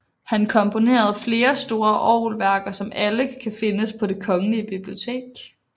Han komponerede flere store orgelværker som alle kan findes på Det Kongelige Bibliotek